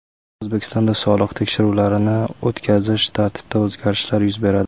O‘zbekistonda soliq tekshiruvlarini o‘tkazish tartibida o‘zgarishlar yuz beradi.